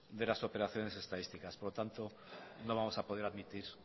de las operaciones estadísticas por lo tanto no vamos a poder admitir